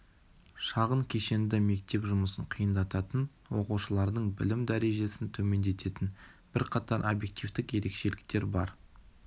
шағын кешенді мектеп жұмысын қиындататын оқушылардың білім дәрежесін төмендететін бірқатар объективтік ерекшеліктер бар